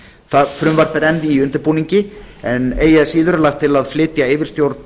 það frumvarp er enn í undirbúningi en eigi að síður er lagt til að flytja yfirstjórn